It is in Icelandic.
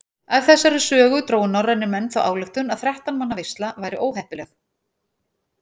Af þessari sögu drógu norrænir menn þá ályktun að þrettán manna veisla væri óheppileg.